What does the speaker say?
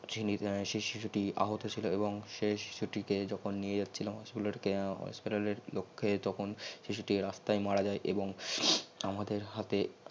সেই শিশুটি আহত ছিল এবং সেই শিশু টিকে যখন নিয়ে জাছহিললাম হাস্পাতাল এর লখে তখন সেই শিশুটি রাস্তাই মারা আজই এবং আমাদের হাতে